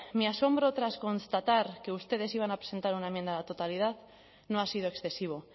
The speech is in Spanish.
mi asombro tras constatar que ustedes iban a presentar una enmienda a la totalidad no ha sido excesivo